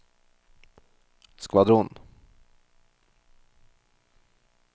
skvadron